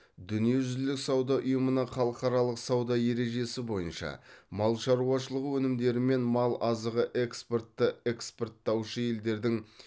дүниежүзілік сауда ұйымының халықаралық сауда ережесі бойынша мал шаруашылығы өнімдері мен мал азығы экспорты экспорттаушы елдердің